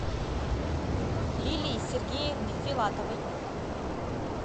лилии сергеевны филатовой